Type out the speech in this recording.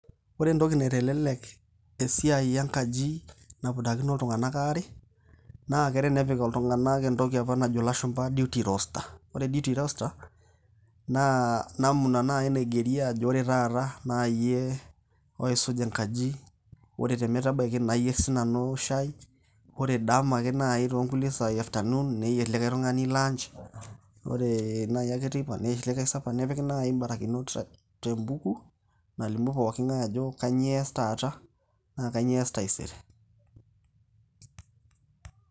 Kore entoki naitelelek esiai enkaji napudakino iltung'ana aare, naa ake tenepik iltung'ana entoki apa najo ilashumba duty roster ore duty roster naa namna nai naigeri ajo ore tata na iyie oisuj enkaji, ore te metabaiki nayer siinanu shai, ore dama akeyie naa toonkulie saai e afternoon neyer likai tung'ani lunch ore akeyie teipa, neyer likai supper nepiki nai imbarakinot te mbuku nalimu pooki ng'ai ajo kanyoo eas taata na kanyoo eas taisere.